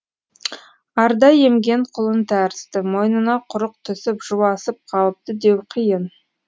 арда емген құлын тәрізді мойнына құрық түсіп жуасып қалыпты деу қиын